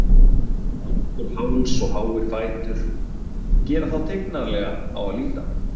Langur háls og háir fætur gera þá tignarlega á að líta.